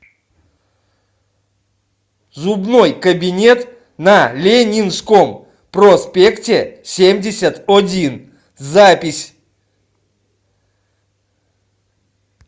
зубной кабинет на ленинском проспекте семьдесят один запись